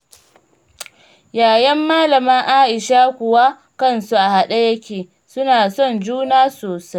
Ƴaƴan Malama Aisha kuwa kansu a haɗe yake, suna son juna sosai.